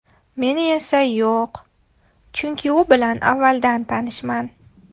Meni esa yo‘q, chunki u bilan avvaldan tanishman.